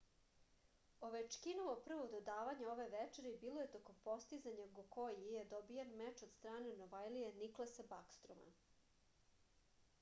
ovečkinovo prvo dodavanje ove večeri bilo je tokom postizanja gokoji je dobijen meč od strane novajlije niklasa bakstroma